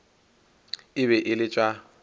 e be e le tša